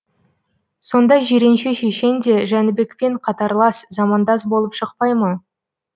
сонда жиренше шешен де жәнібекпен қатарлас замандас болып шықпай ма